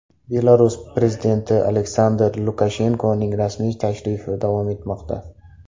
Belarus prezidenti Aleksandr Lukashenkoning rasmiy tashrifi davom etmoqda.